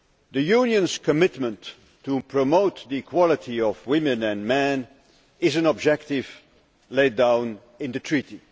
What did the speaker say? The Union's commitment to promoting the equality of women and men is an objective laid down in the Treaty.